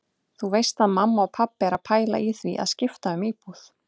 Þú veist að mamma og pabbi eru að pæla í því að skipta um íbúð.